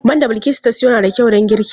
Man da Bilkisu ta sayo na da kyau don girki.